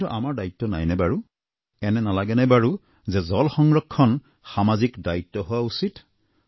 কিন্তু আমাৰ দায়িত্ব নাই নে বাৰু এনে নালাগেনে বাৰু যে জল সংৰক্ষণ সামাজিক দায়িত্ব হোৱা উচিত